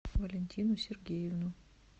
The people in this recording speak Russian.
валентину сергеевну